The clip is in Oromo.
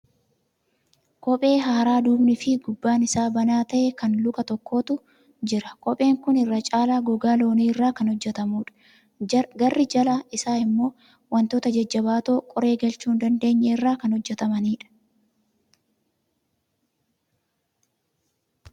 Kophee haaraa duubni fi gubbaan isaa banaa ta'e kan luka tokkootu jira. Kopheen kun irra caala gogaa loonii irraa kan hojjatamuudha. Garri jalaa isaa immoo wantoota jajjabaatoo qoree galchuu hin dandeenya irraa kan hojjatamaniidha.